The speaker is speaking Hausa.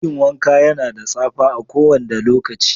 Dakin wanka yana da tsapa a kowanda lokaci.